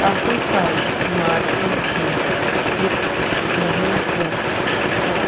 काफी सारी इमारतें भी दिख रहें हैं और --